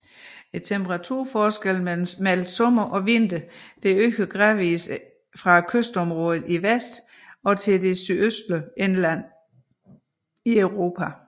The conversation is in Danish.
Temperaturforskellen mellem sommer og vinter øger gradvis fra kystområderne i vest til det sydøstlige indland i Europa